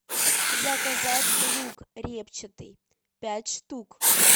заказать лук репчатый пять штук